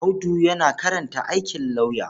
Audu yana karanta aikin lauyer.